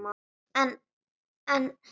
En en.